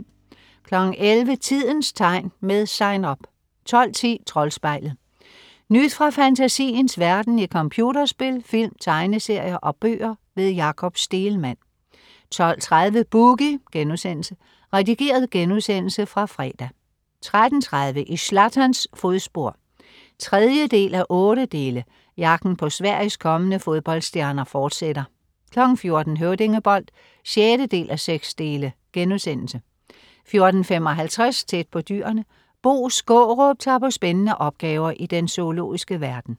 11.00 Tidens tegn. Med SIGN UP 12.10 Troldspejlet. Nyt fra fantasiens verden i computerspil, film, tegneserier og bøger. Jakob Stegelmann 12.30 Boogie.* Redigeret genudsendelse fra fredag 13.30 I Zlatans fodspor 3:8. Jagten på Sveriges kommende fodboldstjerner fortsætter 14.00 Høvdingebold 6:6* 14.55 Tæt på Dyrene. Bo Skaarup tager på spændende opgaver i den zoologiske verden